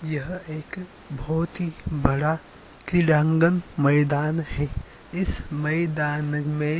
यह एक बहोत ही बड़ा क्रीड़ांगन मैदान है। इस मैदान में --